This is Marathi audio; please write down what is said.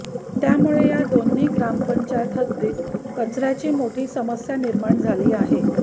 त्यामुळे या दोन्ही ग्रामपंचायत हद्दीत कचऱ्याची मोठी समस्या निर्माण झाली आहे